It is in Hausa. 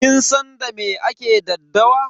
Kin san da me ake daddawa?